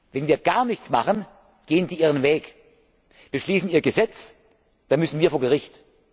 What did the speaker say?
Wenn wir gar nichts machen, gehen die ihren Weg, beschließen ihr Gesetz, dann müssen wir vor Gericht.